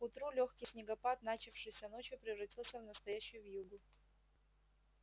к утру лёгкий снегопад начавшийся ночью превратился в настоящую вьюгу